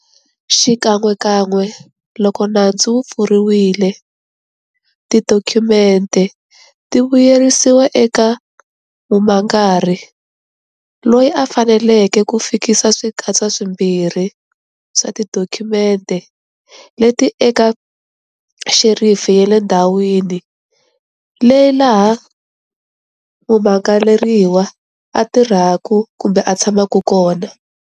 Xikan'wekan'we loko nandzu wu pfuriwile, tidokhumente ti vuyiseriwa eka mumangari, loyi a faneleke ku fikisa swikatsa swimbirhi swa tidokhumente leti eka xerifi ya le ndhawini leyi laha mumangaleriwa a tirhaka kumbe a tshamaka kona.